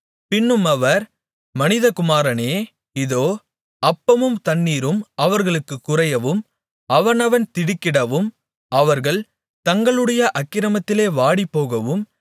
பின்னும் அவர் மனிதகுமாரனே இதோ அப்பமும் தண்ணீரும் அவர்களுக்குக் குறையவும் அவனவன் திடுக்கிடவும் அவர்கள் தங்களுடைய அக்கிரமத்திலே வாடிப்போகவும்